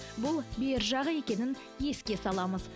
бұл бергі жағы екенін еске саламыз